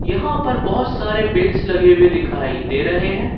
यहां पर बहुत सारे बिंस लगे हुए दिखाई दे रहे हैं।